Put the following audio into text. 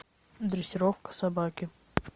дрессировка собаки